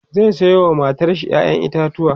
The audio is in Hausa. zai Sayo wa matar shi ƴaƴan itatauwa